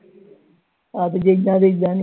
ਦੇ ਜਾਣੇ